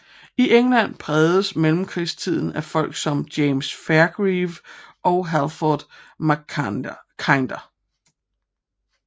I England prægedes mellemkrigstiden af folk som James Fairgrieve og Halford Mackinder